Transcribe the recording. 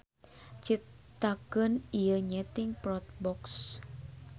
Citakan ieu nyeting Protbox.